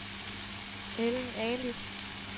Ellen Ali